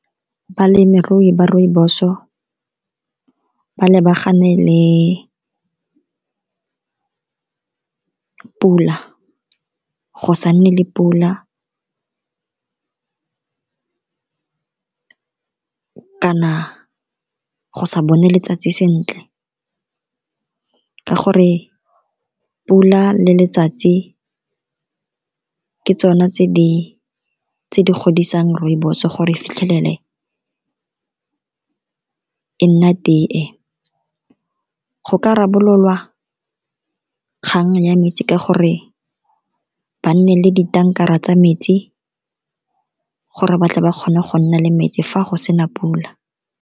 Balemirui ba rooibos-o ba lebagane le pula, go sa nne le pula, kana go sa bone letsatsi sentle ka gore pula le letsatsi ke tsone tse di godisang rooibos-o gore e fitlhelele e nna teye. Go ka rarabolola kgang ya metsi ka gore ba nne le ditanka tsa metsi, gore batle ba kgone go nna le metsi fa go sena pula.